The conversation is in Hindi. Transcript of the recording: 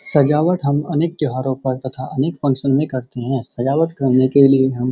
सजावट हम अनेक त्योहारों पर तथा अनेक फंक्शन में करते है सजावट करने के लिए हम --